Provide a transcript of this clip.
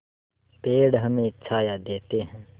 पेड़ हमें छाया देते हैं